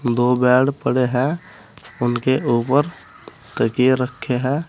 दो बेड पड़े हैं उनके ऊपर तकिये रखे हैं।